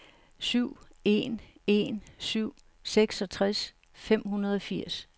syv en en syv seksogtres fem hundrede og firs